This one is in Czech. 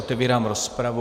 Otevírám rozpravu.